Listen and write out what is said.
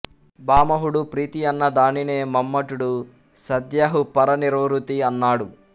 భామహుడు ప్రీతి అన్న దానినే మమ్మటుడు సద్యహ్ పరనిర్వృతి అన్నాడు